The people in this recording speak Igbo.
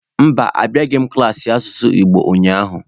Mba, abịaghị m klaasị asụsụ Igbo ụnyaahụ.